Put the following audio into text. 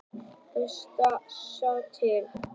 Best að sjá til.